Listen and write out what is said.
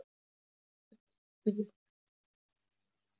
Ég sagði að það mætti alveg athuga það.